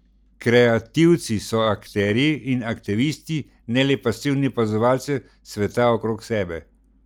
Kreativci so akterji in aktivisti, ne le pasivni opazovalci sveta okrog sebe.